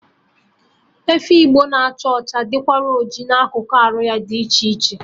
Efi Igbo na-acha ọcha dịrịkwa oji na akụkụ arụ ya dị iche iche